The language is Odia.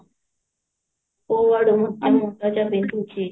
କଉ ଆଡୁ